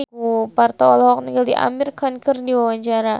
Parto olohok ningali Amir Khan keur diwawancara